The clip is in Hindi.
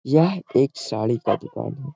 यह एक साड़ी का दुकान है।